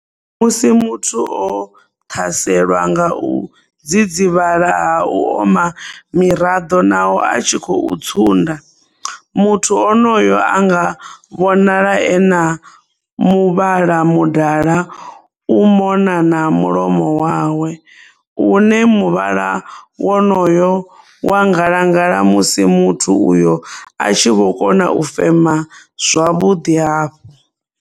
Musi muthu o ṱhaselwa nga u dzidzivhala ha u oma miraḓo nahone a tshi khou tsunda, muthu onoyo anga vhonala e na muvhala mudala u mona na mulomo wawe, une muvhala wonoyo wa ngalangala musi muthu uyo a tshi vho kona u fema zwavhuḓi hafhu.